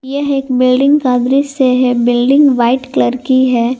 यह एक बिल्डिंग का दृश्य है बिल्डिंग व्हाइट कलर की है।